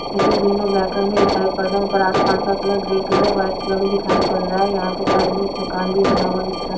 में दिखाई पड़ रहा है ऊपर आसमान का colour grey colour white colour में दिखाई पड़ रहा है यहां पे साइड में एक मकान भी बना हुआ दिख रहा है।